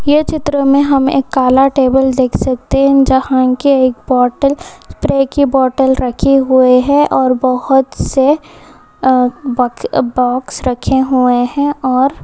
यह चित्र में हम एक काला टेबल देख सकते हैं जहां के एक बोतल स्प्रे की बोतल रखे हुए हैं और बहुत से बॉक्स रखे हुए हैं और--